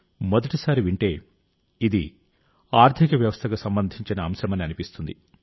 మొదటి సారి వింటే ఇది ఆర్థిక వ్యవస్థకు సంబంధించిన అంశమని అనిపిస్తుంది